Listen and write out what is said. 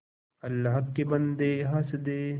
अल्लाह के बन्दे हंस दे